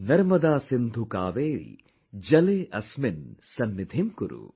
Narmade Sindhu Kaveri Jale asminn Sannidhim Kuru